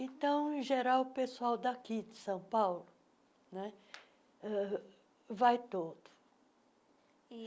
Então, em geral, o pessoal daqui de São Paulo né uh vai todo.